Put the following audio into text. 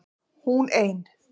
HÚN EIN